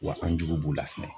Wa an jugu b'u la fɛnɛ.